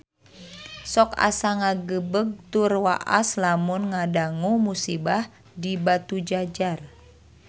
Sok asa ngagebeg tur waas lamun ngadangu musibah di Batujajar